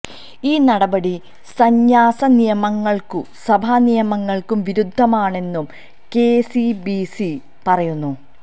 ഈ നടപടി സന്യാസ നിയമങ്ങള്ക്കും സഭാ നിയമങ്ങള്ക്കും വിരുദ്ധമാണെന്നും കെസിബിസി പറയുന്നു